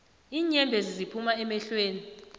iinyembezi ziphuma emehlweni